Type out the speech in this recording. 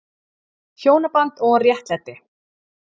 HJÓNABAND OG RÉTTLÆTI